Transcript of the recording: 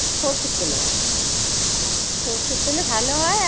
সর্ষের তেলে ভালো হয়। আচ্ছা। সর্ষের তেলে ভালো হয় আর